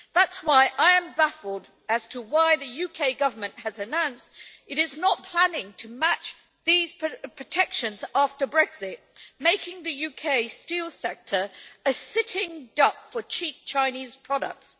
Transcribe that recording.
That is why I am baffled as to why the UK Government has announced that it is not planning to match these protections after Brexit, making the UK steel sector a sitting duck for cheap Chinese products.